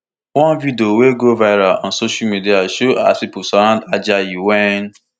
one video wey go viral on social media show as pipo surround ajayi wen